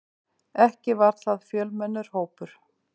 Ekki var það fjölmennur hópur.